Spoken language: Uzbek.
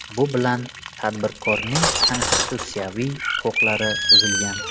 Bu bilan tadbirkorning konstitutsiyaviy huquqlari buzilgan.